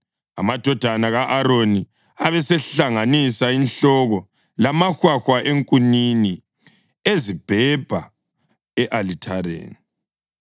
Amadodana ka-Aroni abesehlanganisa inhloko lamahwahwa enkunini ezibhebha e-alithareni.